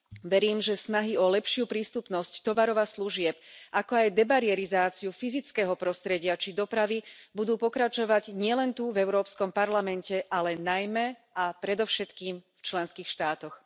Verím, že snahy o lepšiu prístupnosť tovarov a služieb, ako aj debarerizáciu fyzického prostredia či dopravy budú pokračovať nielen tu v Európskom parlamente, ale najmä a predovšetkým v členských štátoch.